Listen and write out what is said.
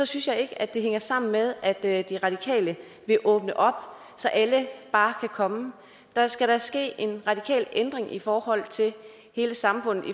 synes jeg ikke at det hænger sammen med at at de radikale vil åbne op så alle bare kan komme der skal da ske en radikal ændring i forhold til hele samfundet